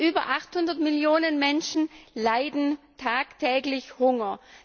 Über 800 Millionen Menschen leiden tagtäglich Hunger.